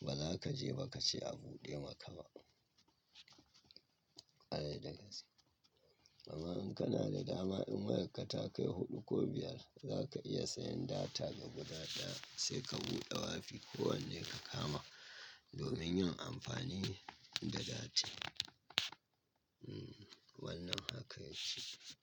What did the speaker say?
ba za ka je ba ka ce a buɗe maka ba. Ƙare da ƙarshe. Amma in kana da dama in wayarka ta kai huɗu ko biyar za ka iya sayan data gaba ɗata sai ka buɗe wifi ko wanne ka kama domin yin amfani da data. Hmm wannan haka ya cika.